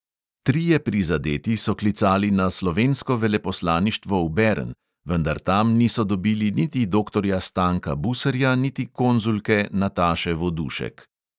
Trije prizadeti so klicali na slovensko veleposlaništvo v bern, vendar tam niso dobili niti doktorja stanka buserja, niti konzulke nataše vodušek.